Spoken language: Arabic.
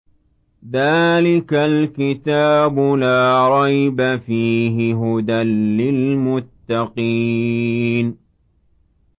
ذَٰلِكَ الْكِتَابُ لَا رَيْبَ ۛ فِيهِ ۛ هُدًى لِّلْمُتَّقِينَ